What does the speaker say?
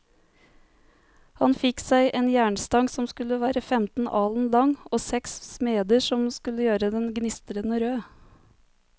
Han fikk seg en jernstang som skulle være femten alen lang, og seks smeder som skulle gjøre den gnistrende rød.